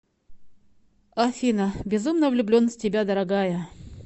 афина безумно влюблен в тебя дорогая